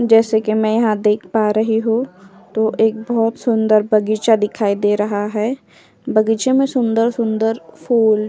जैसे कि मैं यहाँ पर देख पा रही हू तो एक बोहोत सुंदर बगीचा दिखाई दे रहा है। बगीचे में सुंदर सुंदर फूल --